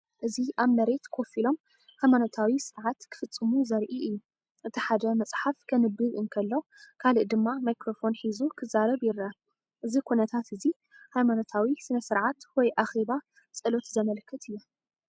እዚ ኣብ መሬት ኮፍ ኢሎም ሃይማኖታዊ ስነ-ስርዓት ክፍጽሙ ዘርኢ እዩ። እቲ ሓደ መጽሓፍ ከንብብ እንከሎ፡ ካልእ ድማ ማይክሮፎን ሒዙ ክዛረብ ይረአ። እዚ ኩነታት እዚ ሃይማኖታዊ ስነ-ስርዓት ወይ ኣኼባ ጸሎት ዘመልክት እዩ።